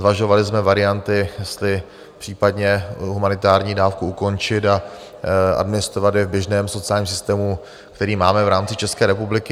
Zvažovali jsme varianty, jestli případně humanitární dávku ukončit a administrovat ji v běžném sociálním systému, který máme v rámci České republiky.